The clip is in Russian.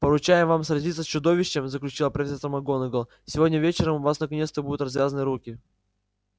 поручаем вам сразиться с чудовищем заключила профессор макгонагалл сегодня вечером у вас наконец-то будут развязаны руки